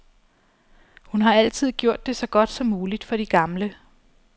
Hun har altid gjort det så godt som muligt for de gamle.